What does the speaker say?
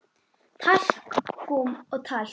Talkúm og talk